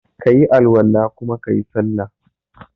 kayi Al-wala kuma kayi sallah.